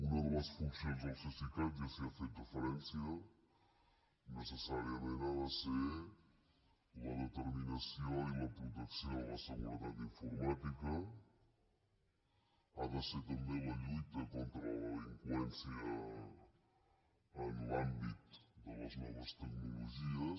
una de les funcions del cesicat ja s’hi ha fet referència necessàriament ha de ser la determinació i la protecció de la seguretat informàtica ha de ser també la lluita contra la delinqüència en l’àmbit de les noves tecnologies